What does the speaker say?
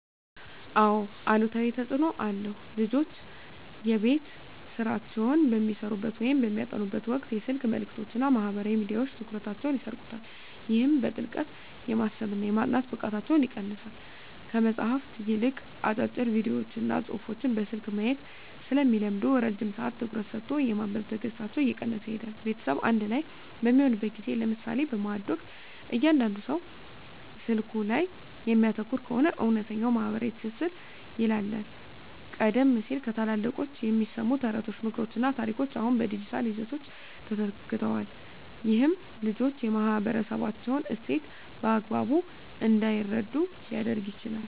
አዎ አሉታዊ ተፅኖ አለው። ልጆች የቤት ሥራቸውን በሚሠሩበት ወይም በሚያጠኑበት ወቅት የስልክ መልእክቶችና ማኅበራዊ ሚዲያዎች ትኩረታቸውን ይሰርቁታል። ይህም በጥልቀት የማሰብና የማጥናት ብቃታቸውን ይቀንሰዋል። ከመጽሐፍት ይልቅ አጫጭር ቪዲዮዎችንና ጽሑፎችን በስልክ ማየት ስለሚለምዱ፣ ረጅም ሰዓት ትኩረት ሰጥቶ የማንበብ ትዕግሥታቸው እየቀነሰ ይሄዳል። ቤተሰብ በአንድ ላይ በሚሆንበት ጊዜ (ለምሳሌ በማዕድ ወቅት) እያንዳንዱ ሰው ስልኩ ላይ የሚያተኩር ከሆነ፣ እውነተኛው ማኅበራዊ ትስስር ይላላል። ቀደም ሲል ከታላላቆች የሚሰሙ ተረቶች፣ ምክሮችና ታሪኮች አሁን በዲጂታል ይዘቶች ተተክተዋል። ይህም ልጆች የማኅበረሰባቸውን እሴት በአግባቡ እንዳይረዱ ሊያደርግ ይችላል።